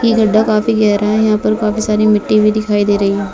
ये गड्ढा काफी गहरा है यहाँ पर काफी सारी मिट्टी भी दिखाई दे रही है ।